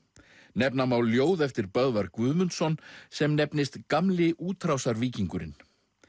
nefna má ljóð eftir Böðvar Guðmundsson sem nefnist Gamli útrásarvíkingurinn